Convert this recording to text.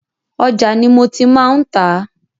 Òja ni mo tí má ń tà a.